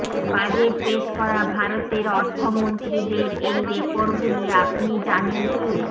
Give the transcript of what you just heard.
budget পেশ করা ভারতের অর্থমন্ত্রীদের এই রেকর্ডগুলি আপনি জানেন কি